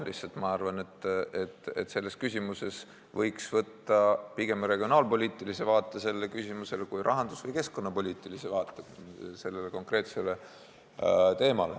Ma lihtsalt arvan, et selles küsimuses võiks võtta pigem regionaalpoliitilise vaate, mitte rahandus- või keskkonnapoliitilise vaate.